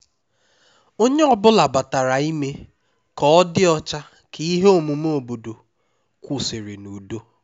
onye ọ bụla batara ime ka ọ dị ọcha ka ihe omume obodo kwụsịrị n'udo